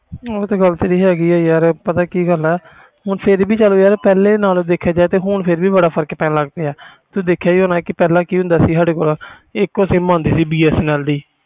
ਉਹ ਤੇ ਗੱਲ ਸਹੀ ਤੇਰੀ ਹਾਂ ਗਈ ਪਤਾ ਕਿ ਗੱਲ ਪਰ ਫਿਰ ਵੀ ਪਹਿਲੇ ਨਾਲੋਂ ਦੇਖਿਆ ਜਾਵੇ ਤਾ ਬਹੁਤ ਫਰਕ ਆ ਪਹਿਲੇ ਕਿ ਹੁੰਦਾ ਸੀ ਸਾਡੇ ਕੋਲ ਇੱਕੋ sim ਹੁੰਦੀ ਸੀ bsnl ਦੀ